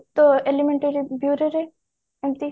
elementary bure ରେ ଏମତି